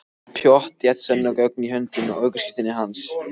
Með pottþétt sönnunargögn í höndunum. ökuskírteinið hans.